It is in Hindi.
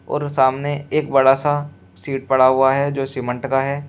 और सामने एक बड़ा सा सीट पड़ा हुआ है जो सीमेंट का है।